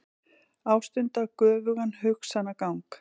Ástunda göfugan hugsanagang.